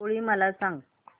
होळी मला सांगा